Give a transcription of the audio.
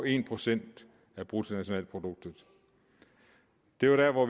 en procent af bruttonationalproduktet det var der hvor